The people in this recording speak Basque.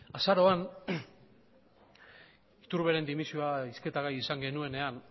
azaroan iturberen dimisioa hizketa gai izan genuenean